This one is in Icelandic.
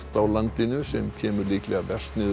á landinu sem kemur líklega verst niður